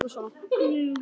Þær yrðu að spjara sig.